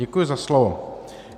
Děkuji za slovo.